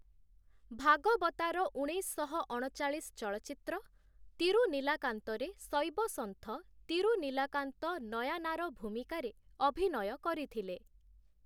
ଭାଗବତାର ଉଣେଇଶଶହ ଅଣଚାଳିଶ ଚଳଚ୍ଚିତ୍ର ତିରୁନିଲାକାନ୍ତରେ ଶୈବ ସନ୍ଥ ତିରୁନିଲାକାନ୍ତ ନୟାନାର ଭୂମିକାରେ ଅଭିନୟ କରିଥିଲେ ।